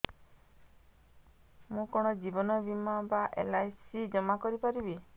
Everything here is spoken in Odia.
ମୁ କଣ ଜୀବନ ବୀମା ବା ଏଲ୍.ଆଇ.ସି ଜମା କରି ପାରିବି